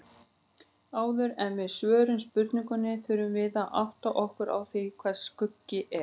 Áður en við svörum spurningunni þurfum við að átta okkur á því hvað skuggi er.